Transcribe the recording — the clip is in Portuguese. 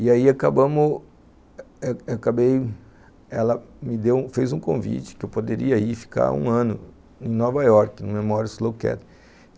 E aí acabamos... acabei... ela me fez um convite que eu poderia ir ficar um ano em Nova York, no Memorial Slowcat.